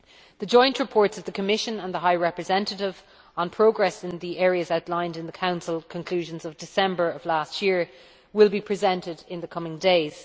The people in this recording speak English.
The joint report of the Commission and the High Representative on progress in the areas outlined in the Council conclusions of December last year will be presented in the coming days.